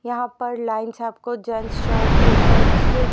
यहां पर लाइन छपको जेंट्स शर्ट टी_शर्ट्स --